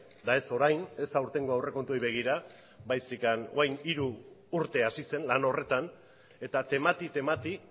eta ez orain ez aurtengo aurrekontuei begira baizik eta orain dela hiru urte hasi zen lan horretan eta temati temati